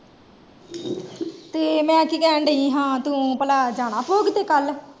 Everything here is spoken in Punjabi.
ਤੇ, ਮੈਂ ਕੀ ਕਹਿਣ ਡੀਈ ਹਾ, ਤੂੰ ਪਲਾਂ ਜਾਣਾ ਭੋਗ ਤੇ ਕੱਲ?